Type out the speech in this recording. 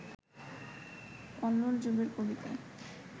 কল্লোল যুগের কবি কে